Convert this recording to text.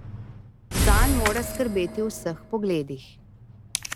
Zanj moraš skrbeti v vseh pogledih.